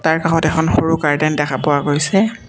তাৰ কাষত এখন সৰু গাৰ্ডেন দেখা পোৱা গৈছে।